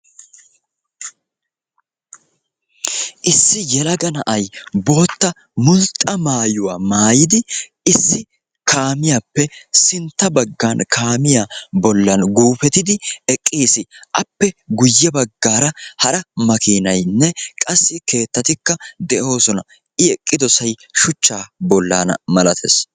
Issi yelaga na'ay bootta mulxxa maayuwa maayidi issi kaamiyaappe sintta baggan kaamiyaa bollan guufetidi eqqiis; appe guyye baggara hara makinaynne qassi keettatikka de'oosona; I eqqidoosay shuchcha bollaana malatees